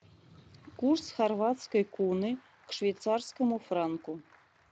курс хорватской куны к швейцарскому франку